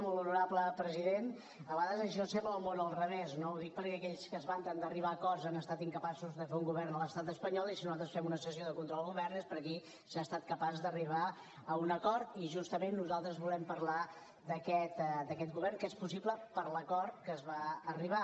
molt honorable president a vegades això sembla el món al revés no ho dic perquè aquells que es vanten d’arribar a acords han estat incapaços de fer un govern a l’estat espanyol i si nosaltres fem una sessió de control al govern és perquè aquí s’ha estat capaç d’arribar a un acord i justament nosaltres volem parlar d’aquest govern que és possible per l’acord a què es va arribar